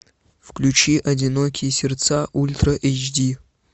включи одинокие сердца ультра эйч ди